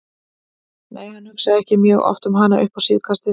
Nei, hann hugsaði ekki mjög oft um hana upp á síðkastið.